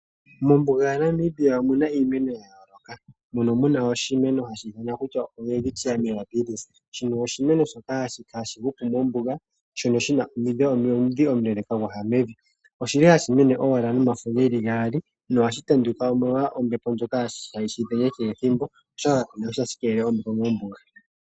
Mombuga yaNamibia omu na iimeno ya yooloka mono mu na oshimeno hashi ithanwa kutya owelwitchia mirabillis. Shino oshimeno shoka hashi hupu mombuga, shono shi na omudhi omuleeleka gwa ya mevi. Oshi li hashi mene owala nomafo ge li gaali nohaga tanduka, omolwa ombepo ndjoka hayi shi dhenge kehe ethimbo, oshoka kapu na shi tashi keelele ombepo mombuga.